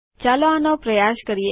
ચાલો આનો પ્રયાસ કરીએ